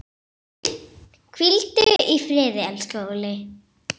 Hvíldu í friði, elsku Óli.